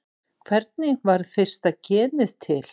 hvernig varð fyrsta genið til